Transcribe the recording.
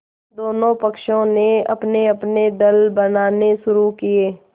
दोनों पक्षों ने अपनेअपने दल बनाने शुरू किये